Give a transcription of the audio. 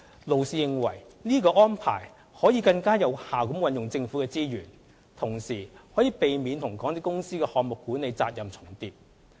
勞氏認為這種安排可以更有效運用政府的資源，同時可避免與港鐵公司的項目管理責任重疊。